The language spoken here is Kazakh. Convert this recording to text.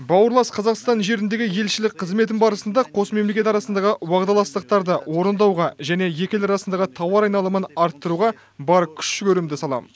бауырлас қазақстан жеріндегі елшілік қызметім барысында қос мемлекет арасындағы уағдаластықтарды орындауға және екі ел арасындағы тауар айналымын арттыруға бар күш жігерімді саламын